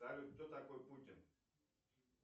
салют кто такой путин